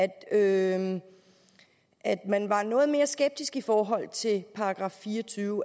at at man var noget mere skeptisk i forhold til § fire og tyve